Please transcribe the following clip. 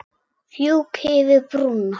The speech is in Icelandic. Fjúki yfir brúna.